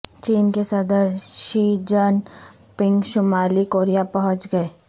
چین کے صدر Xi Jinping شمالی کوریا پہنچ گئے